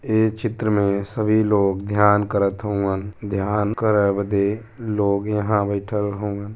ए चित्र में सभी लोग ध्यान करत हउअन। ध्यान करे बदे लोग यहाँ बईठल हउअन।